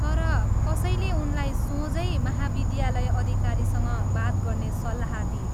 तर, कसैले उनलाई सोझै महाविद्यालय अधिकारीसँग बात गर्ने सल्लाह दिए।